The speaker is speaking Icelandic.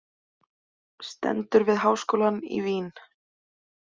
Stendur við háskólann í Vín.